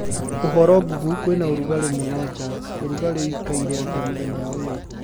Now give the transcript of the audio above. uhoro google kwĩna ũrũgarĩ mũno ja ũrũgarĩ ũĩkaire atĩa mũthenya uyu